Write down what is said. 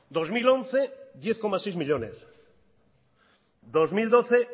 dos mil once diez coma seis millónes dos mil doce